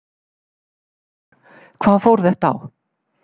Þórhildur: Hvað fór þetta á?